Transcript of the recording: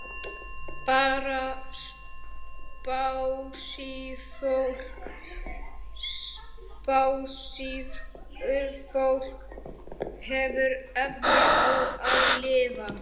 Bara spássíufólk hefur efni á að lifa.